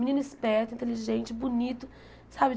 Menino esperto, inteligente, bonito, sabe?